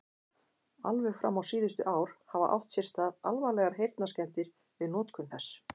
Alveg fram á síðustu ár hafa átt sér stað alvarlegar heyrnarskemmdir við notkun þess.